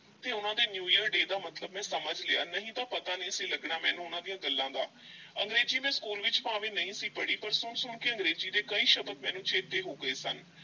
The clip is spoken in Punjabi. ਤੇ ਉਹਨਾਂ ਦੇ new year day ਦਾ ਮਤਲਬ ਮੈਂ ਸਮਝ ਲਿਆ ਨਹੀਂ ਤਾਂ ਪਤਾ ਨਹੀਂ ਸੀ ਲੱਗਣਾ ਮੈਨੂੰ ਉਹਨਾਂ ਦੀਆਂ ਗੱਲਾਂ ਦਾ ਅੰਗਰੇਜ਼ੀ ਮੈਂ ਸਕੂਲ ਵਿੱਚ ਭਾਵੇਂ ਨਹੀਂ ਸੀ ਪੜ੍ਹੀ ਪਰ ਸੁਣ-ਸੁਣ ਕੇ ਅੰਗਰੇਜ਼ੀ ਦੇ ਕਈ ਸ਼ਬਦ ਮੈਨੂੰ ਚੇਤੇ ਹੋ ਗਏ ਸਨ।